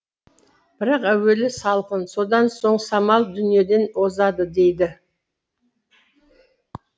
бірақ әуелі салқын содан соң самал дүниеден озады дейді